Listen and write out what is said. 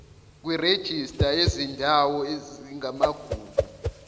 kwirejista yezindawo ezingamagugu